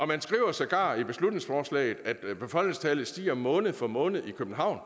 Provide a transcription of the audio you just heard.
man skriver sågar i beslutningsforslaget at befolkningstallet stiger måned for måned i københavn